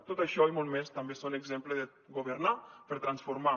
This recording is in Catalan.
tot això i molt més també són exemples de governar per transformar